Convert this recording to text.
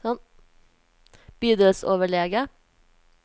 bydelsoverlege